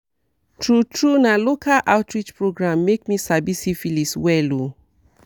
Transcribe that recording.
true true na local outreach program make me sabi syphilis well o